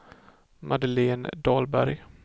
Madeleine Dahlberg